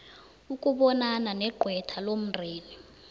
ukubonana negqwetha lomndeni